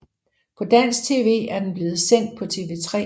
På dansk tv er den blevet sendt på TV3